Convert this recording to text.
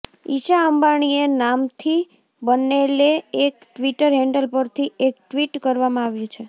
ઇશા અંબાણીએ નામથી બનેલે એક ટ્વિટર હેન્ડલ પરથી એક ટ્વિટ કરવામાં આવ્યું છે